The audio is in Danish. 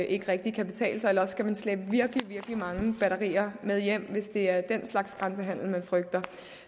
ikke rigtig kan betale sig eller også skal man slæbe virkelig virkelig mange batterier med hjem hvis det er den slags grænsehandel man frygter